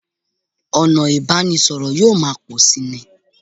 Ọ̀nà ìbánisọ̀rọ̀ yóò máa pọ̀ síi ni